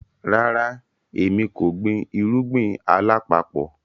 Ràrà, ẹ̀mi kò gbìn irugbin alapapọ̀.